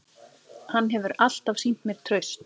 Hann hefur alltaf sýnt mér traust